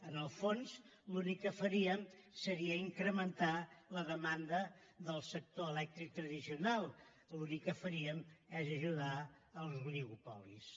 en el fons l’únic que faríem seria incrementar la demanda del sector elèctric tradicional l’únic que faríem seria ajudar els oligopolis